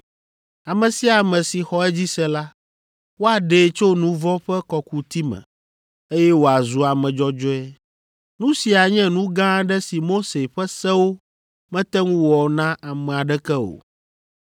Ame sia ame si xɔ edzi se la, woaɖee tso nu vɔ̃ ƒe kɔkuti me, eye wòazu ame dzɔdzɔe. Nu sia nye nu gã aɖe si Mose ƒe sewo mete ŋu wɔ na ame aɖeke o.